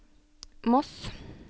Moss